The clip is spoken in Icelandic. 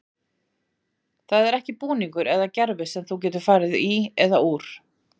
Það er ekki búningur eða gervi sem þú getur farið í og úr.